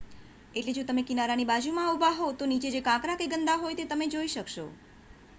એટલે જો તમે કિનારાની બાજુમાં ઊભા હો તો નીચે જે કાંકરા કે ગંદા હોય તે તમે જોઈ શકશો